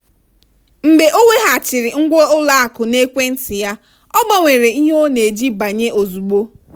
mgbe ọ weghachiri ngwa ụlọakụ n'ekwentị ya ọ gbanwere ihe ọ na-eji banye ozugbo.